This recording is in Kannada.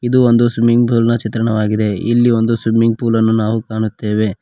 ಅದು ಒಂದು ಸ್ವಿಮಿಂಗ್ ಪೂಲಿನ ಚಿತ್ರಾಣವಾಗಿದೆ ಇಲ್ಲಿ ಒಂದು ಇಲ್ಲಿ ಒಂದು ಸ್ವಿಮ್ಮಿಂಗ್ ಪೂಲ್ ಅನ್ನು ನಾವು ಕಾಣುತ್ತೇವೆ.